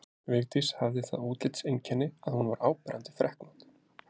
Vigdís hafði það útlitseinkenni að hún var áberandi freknótt.